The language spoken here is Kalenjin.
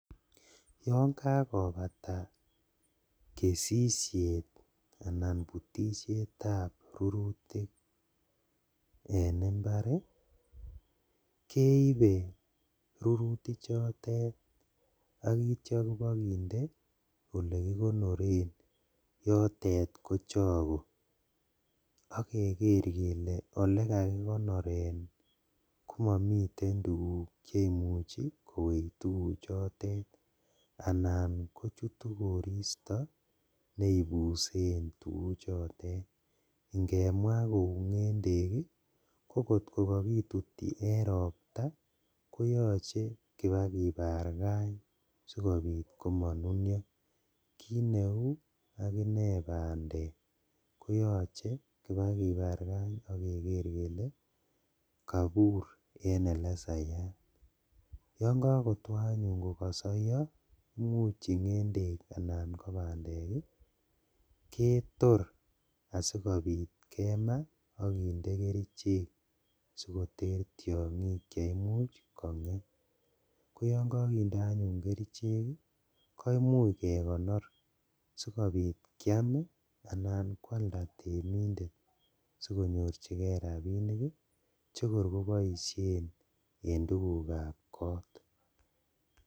Yon kakobata kesishet anan butishetab rurutik en imbar keibe rurutik chotet akityo kobikende ole kikonoren yotet Ko choke akeker kele ole kakikonoren komamiten tukuk cheimuchi kowech tukuchotet anan kochutei koristo neimbusen tukuchotet ngemwa kou ng'endek ko katkokakituti en ropta koyochei kopakiparkan sikobit komanunyo akine bandek koyoche kopakiparkan keker kele kaibur en ole sayat yon kakotoi anyun kosoiyo ng'endek anan bandek ketor asikobit kema akinde kerichek sikoter tiong'ik che imuch kong'em ko yo kakinde anyun kerichek ko imuuch kekonor sikobit koam anan kwalda temindet sikonyorchigei rapinik chikoi koboishen en tukukab kot